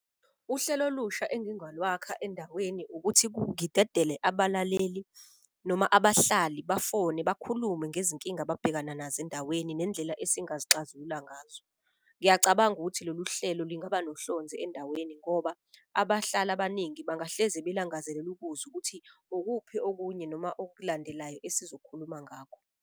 Uhlelo olusha engingalwakha endaweni ukuthi ngidedile abalaleli noma abahlali bafone bakhulume ngezinkinga ababhekana nazo endaweni. Nendlela esingazi xazulula ngazo. Ngiyacabanga ukuthi lolu hlelo lingaba nohlonze endaweni ngoba abahlali abaningi bangahlezi belangazelela ukuzwa ukuthi ukuphi okunye noma okulandelayo esizokhuluma ngakho.